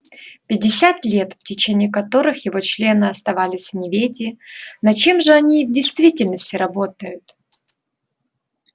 пятьдесят лет в течение которых его члены оставались в неведении над чем же они в действительности работают